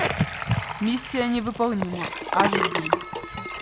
миссия невыполнима аш ди